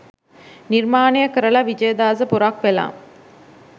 නිර්මානය කරලා විජයදාස පොරක් වෙලා